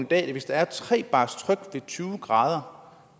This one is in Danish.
dag at hvis der er tre bars tryk ved tyve grader